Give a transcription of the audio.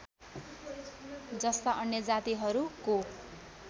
जस्ता अन्य जातिहरूको